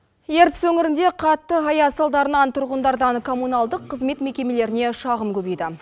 ертіс өңірінде қатты аяз салдарынан тұрғындардан коммунальдық қызмет мекемелеріне шағым көбейді